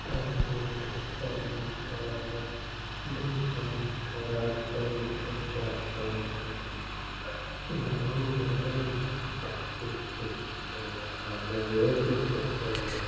पहीरे के सौ मीटर दू सौ मीटर सौ मीटर के आस-पास --